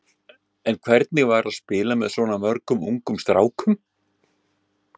En hvernig var að spila með svona mörgum ungum strákum?